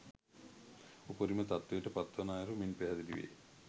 උපරිම තත්ත්වයට පත්වන අයුරු මින් පැහැදිලි වේ.